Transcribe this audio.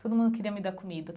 Todo mundo queria me dar comida.